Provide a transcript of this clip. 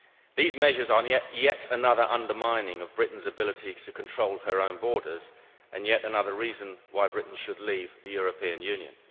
These measures are yet another undermining of Britain's ability to control her own borders, and yet another reason why Britain should leave the European Union.